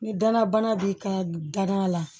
Ni danabana b'i ka danaya la